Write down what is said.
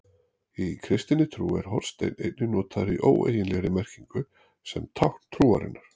Í kristinni trú er hornsteinn einnig notaður í óeiginlegri merkingu sem tákn trúarinnar.